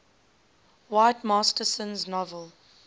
whit masterson's novel